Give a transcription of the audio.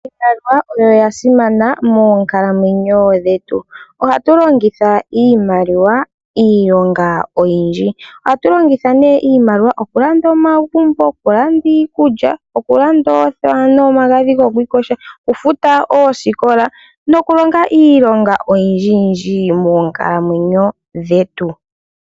Iimaliwa oyo oyasimana moonkalamwenyo dhetu. Ohatu longitha iimaliwa iilonga oyindji. Ohatu longitha nee iimaliwa okulanda omagumbo, okulanda iikulya, okulanda oothewa nomagadhi gokwiikosha, oku futa oosikola nokulonga iilonga oyindji yindji moonkalamwenyo dhetu.